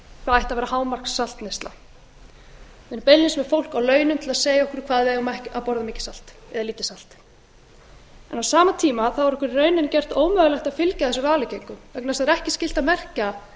ætti að vera hámarkssamneysla en beinlínis er fólk á launum við að segja okkur hvað við eigum að borða mikið salt eða lítið salt en á sama tíma er okkur í rauninni gert ómögulegt að fylgja þessum ráðleggingum vegna þess að það er ekki skylt að merkja